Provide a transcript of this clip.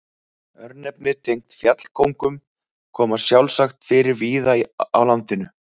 Örnefni tengd fjallkóngum koma sjálfsagt fyrir víða á landinu.